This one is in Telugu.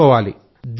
పెట్టుకోవాలి